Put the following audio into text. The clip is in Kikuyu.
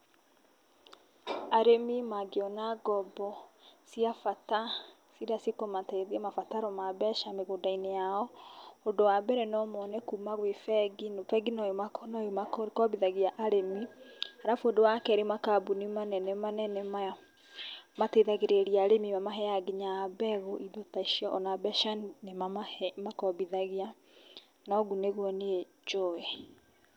Arĩmi mangĩona ngombo cia bata irĩa cikũmateithia mabataro ma mbeca mĩgũnda-inĩ yao. Ũndũ wa mbere, no mone kuma gwĩ bengi, bengi no ĩ makombithagia arĩmi, arabu ũndũ wa kerĩ, makambuni manene manene maya mateithagĩrĩria arĩmi, mamaheaga nginya mbegũ, indo ta icio, ona mbeca nĩ mamakombithagia, na ũguo nĩguo niĩ njũĩ.